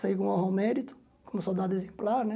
Saí com honra ao mérito, como soldado exemplar, né?